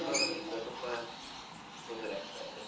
ಒಂದು ವಾರದಿಂದ ತುಂಬಾ ತೊಂದರೆ ಆಗ್ತಾಯಿದೆ.